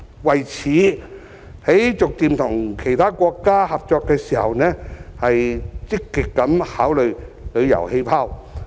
為此，就逐步與其他國家合作方面，積極的考慮"旅遊氣泡"。